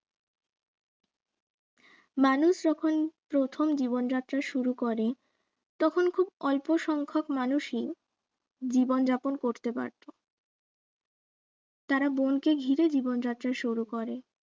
মানুষ যখন প্রথম জীবন যাত্রা শুরু করে তখন খুব অল্প সংখক মানুষই জীবন যাপন করতে পারতো তারা বনকে ঘিরে জীবন যাত্রা শুরু করে